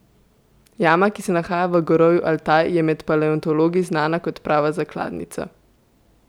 Jama, ki se nahaja v gorovju Altaj, je med paleontologi znana kot prava zakladnica.